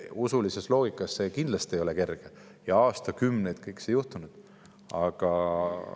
Usulises loogikas see kindlasti ei ole kerge ja aastakümneid on kõik see.